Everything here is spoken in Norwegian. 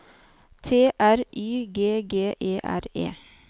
T R Y G G E R E